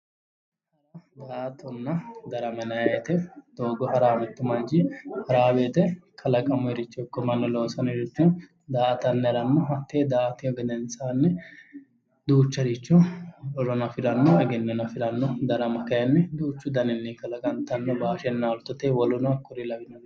Daa'attonna darama yinnayi woyte doogo ha'rayi mitu manchi kalaquno ikko mannu loonsore daa'attanni ha'rano hate daa'atihu gedensanni duucharicho horono afirano, egennono afirano. Darama kayinni duuchu garini kalaqantano bashenna olittote woleno kuri labbanoreti